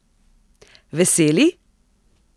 Veseli?